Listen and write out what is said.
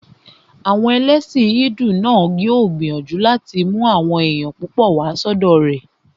Àwọn ẹlẹ́sìn hídù náà yóò gbìyànjú láti mú àwọn èèyàn púpọ̀ wá sọ́dọ̀ rẹ̀